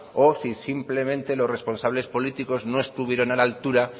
o si simplemente lo responsables políticos no estuvieron a la altura